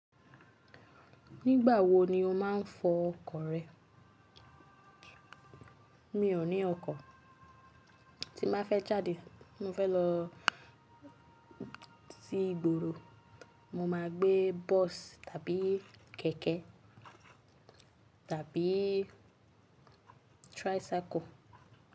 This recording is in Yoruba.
Nígbà wo ni o máa ń fọ ọkọ̀ rẹ? Mi ò ní ọkọ̀, tí mo bá fẹ́ jáde tí mo fẹ́ lọ sí ìgboro, mo máa gbé bọ́ọ̀sì tàbí kẹ̀kẹ́ tàbí tricycle.